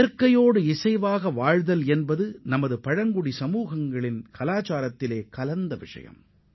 இயற்கையுடன் நெருங்கிய ஒத்துழைப்பு கொண்டு இசைந்துவாழ்வது நமது பழங்குடியின மக்களின் வாழ்வில் ஒரு ஒருங்கிணைந்த பகுதியாகும்